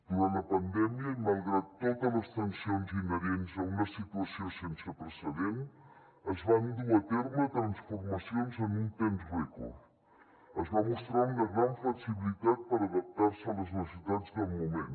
durant la pandèmia i malgrat totes les tensions inherents a una situació sense precedents es van dur a terme transformacions en un temps rècord es va mostrar una gran flexibilitat per adaptar se a les necessitats del moment